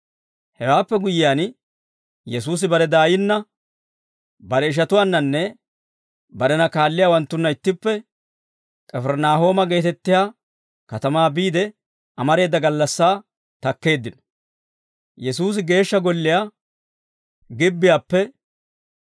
Hewaappe guyyiyaan, Yesuusi bare daayinna, bare ishatuwaannanne barena kaalliyaawanttunna ittippe K'ifirinaahooma geetettiyaa katamaa biide amareeda gallassaa takkeeddino.